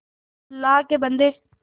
अल्लाह के बन्दे